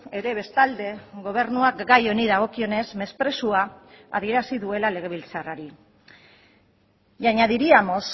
ere bestalde gobernuak gai honi dagokionez mesprezua adierazi duela legebiltzarrari y añadiríamos